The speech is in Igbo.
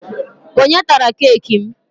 Onye tara keeki m?